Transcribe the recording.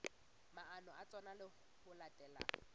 maano a tsona ho latela